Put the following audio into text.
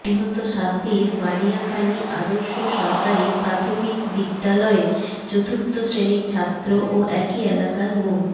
নিহত সাব্বির বানিয়াখালী আদর্শ সরকারি প্রাথমিক বিদ্যালয়ের চতুর্থ শ্রেণীর ছাত্র ও একই এলাকার মো